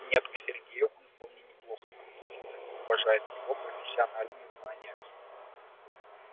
нет к сергею он вполне неплохо относится и уважает его профессиональные знания